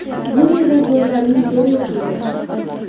Bu yerda zo‘rlarning zo‘ri o‘qiydi.